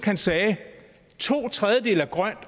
han sagde to tredjedele er grøn